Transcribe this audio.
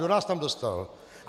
Kdo nás tam dostal?